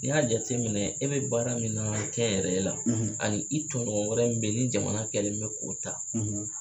Ni y'a jateminɛ e bɛ baara min na kɛ n yɛrɛ la ani i tɔɲɔgɔn wɛrɛ min be in ni jamana kɛlen'o k'o ta